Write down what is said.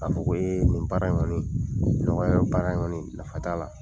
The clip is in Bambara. Ka fɔ ko ye nin baara in kɔni, nɔgɔya bɛ baara in kɔni nafa t'a la.